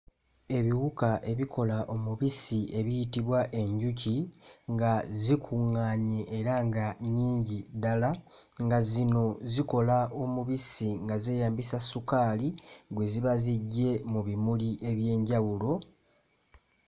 Ebiwuka ebikola omubisi ebiyitibwa enjuki nga zikuŋŋaanye era nga nnyingi ddala, nga zino zikola omubisi nga zeeyambisa sukaali gwe ziba ziggye mu bimuli eby'enjawulo.